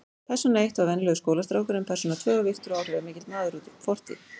Persóna eitt var venjulegur skólastrákur en persóna tvö var virtur og áhrifamikill maður úr fortíð.